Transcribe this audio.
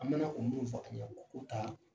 An mana kundun fɔ tuɲɛ kɔ k'u taa